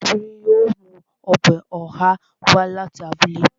Obìnrin yóò mú ọbẹ̀ ọ̀há wá láti abúlé